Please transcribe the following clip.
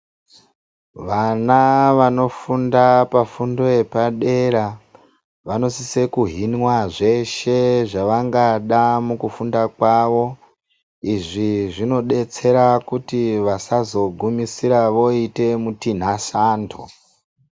Vana vanofunda pafundo yepadera ,vanosise kuhinwa zveshe zvavangada mukufunda kwavo. Izvi zvinodetsera kuti vasazogumisira voite mutinhasanto.